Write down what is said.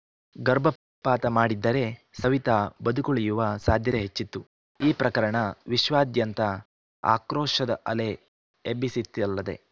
ಗರ್ಭಪಾತ ಮಾಡಿದ್ದರೆ ಸವಿತಾ ಬದುಕುಳಿಯುವ ಸಾಧ್ಯತೆ ಹೆಚ್ಚಿತ್ತು ಈ ಪ್ರಕರಣ ವಿಶ್ವಾದ್ಯಂತ ಆಕ್ರೋಶದ ಅಲೆ ಎಬ್ಬಿಸಿತ್ತಲ್ಲದೇ